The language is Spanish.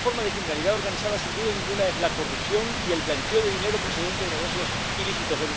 Y una forma de criminalidad organizada, sin duda ninguna, es la corrupción y el blanqueo de dinero procedente de negocios ilícitos.